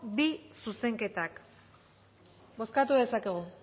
bi zuzenketak bozkatu dezakegu